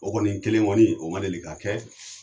O kɔni kelen kɔni, o ma deli ka kɛ.